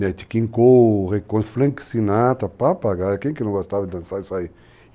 Net Kinkou, Flank Sinatra, papagaio, quem que não gostava de dançar isso aí?